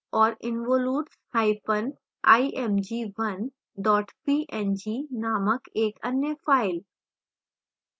और involutesimg1 png named एक अन्य file